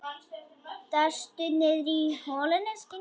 Dastu niðrí holuna, skinnið mitt?